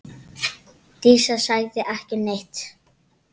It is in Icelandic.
Dísa sagði ekki neitt.